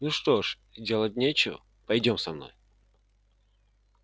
ну что ж делать нечего пойдём со мной